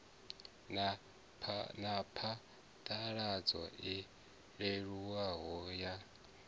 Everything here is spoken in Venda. na phaḓaladzo i leluwaho ya